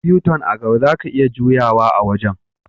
Akwai U-tun a'gaba, zaka iya juye a wajen.